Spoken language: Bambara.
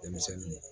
Denmisɛnninw